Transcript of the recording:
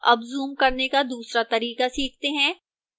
अब जूम करने का दूसरा तरीका सीखते हैं